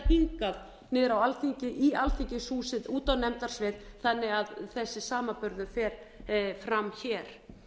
hingað niður á alþingi í alþingishúsið út á nefndasvið þannig að þessi samanburður fer fram hér